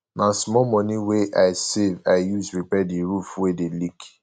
na di small moni we i save i use repair di roof wey dey leak